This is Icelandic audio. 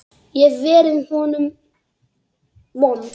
Ég hef verið honum vond.